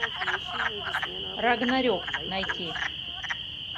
рагнарек найти